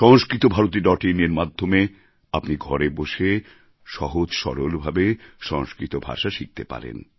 Samskritabharati dot ইনএর মাধ্যমে আপনি ঘরে বসে সহজ সরলভাবে সংস্কৃত ভাষা শিখতে পারেন